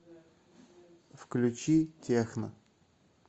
включи техно